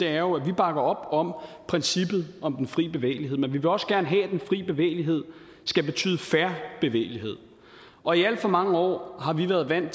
er jo at vi bakker op om princippet om den fri bevægelighed men vi vil også gerne have at den fri bevægelighed skal betyde fair bevægelighed og i alt for mange år har vi været vant